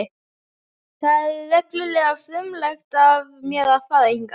Það var reglulega frumlegt af mér að fara hingað.